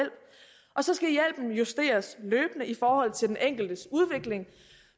og så skal hjælpen justeres løbende i forhold til den enkeltes udvikling